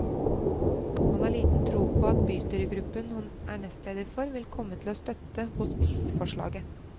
Han har liten tro på at bystyregruppen han er nestleder for vil komme til å støtte hospitsforslaget.